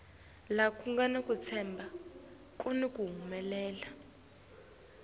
ngekuya kwekufakwa kahle